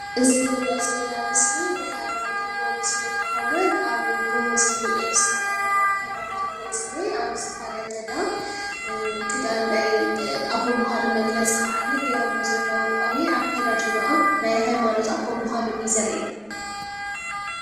እዚ ንሪኦ ዘለና ምስሊ ናይ ሃይማኖት አቦ ምስሊ እንትከውን እዚ አብ ጎቦ ዝኒሄ ናይ ሃይማኖት አቦ እዩ ዝኒሄ አብ ዝኮነ ገዳም ክዳን ናይ አቦ ምዃኖም መግለፂ ከዓኒ ገይረምዎ ዘለዎ ቆቢዕ አከዳድኖአም ናይ ሃይማኖት አቦ ምካኖም እዩ ዘሪኢና፡፡